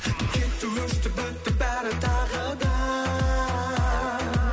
кетті өшті бітті бәрі тағы да